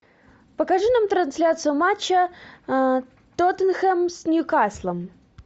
покажи нам трансляцию матча тоттенхэм с ньюкаслом